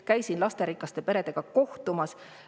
Käisin lasterikaste peredega kohtumas.